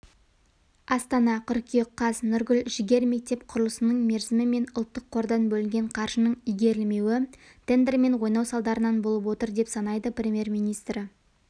астана қыркүйек қаз нұргүл жігер мектеп құрылысының мерзімі менұлттық қордан бөлінген қаржының игерілмеуі тендермен ойнау салдарынан болып отыр деп санайды премьер-министрі